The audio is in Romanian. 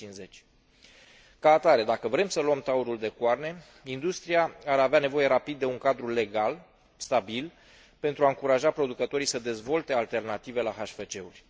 2050. Ca atare, dacă vrem să luăm taurul de coarne, industria ar avea nevoie rapid de un cadru legal stabil pentru a încuraja producătorii să dezvolte alternative la HFC uri.